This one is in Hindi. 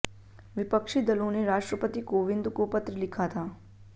विपक्षी दलों ने राष्ट्रपति कोविंद को पत्र लिखा था